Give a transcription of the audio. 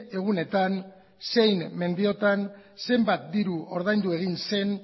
egunetan zein mediotan zenbat diru ordaindu egin zen